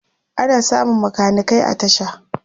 ana samun makanikai a tasha